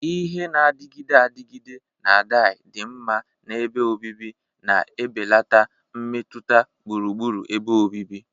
Ihe na-adịgide adịgide na dai dinma na ebe obibi, na-ebelata mmetụta gburugburu ebe obibi.